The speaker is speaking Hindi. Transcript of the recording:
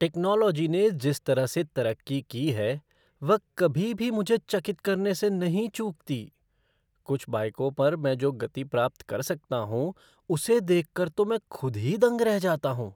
टेक्नॉलोजी ने जिस तरह से तरक्की की है वह कभी भी मुझे चकित करने से नहीं चूकती। कुछ बाइकों पर मैं जो गति प्राप्त कर सकता हूँ उसे देखकर तो मैं खुद ही दंग रह जाता हूँ।